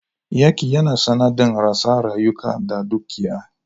Yaƙi yana sanadin rasa rayuka da dukiya.